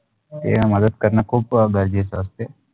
देव मद्डत करणे खुप गरजेसे असतेत